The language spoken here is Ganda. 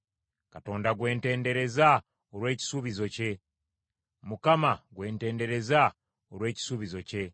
Katonda gwe ntendereza olw’ekisuubizo kye; Mukama gwe ntendereza olw’ekisuubizo kye;